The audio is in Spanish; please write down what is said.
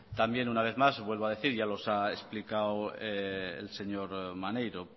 también una vez más vuelvo a decir ya los ha explicado el señor maneiro